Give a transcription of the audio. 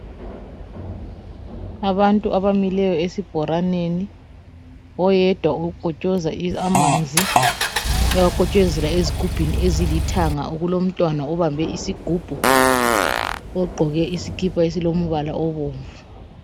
Abantu abamileyo esibholaneni ,oyedwa ukhotshoza amanzi .uyawakhotshozela ezigubhini ezilithanga okulomntwana obambe isigubhu .Ogqoke isikhipha esilombala obomvu.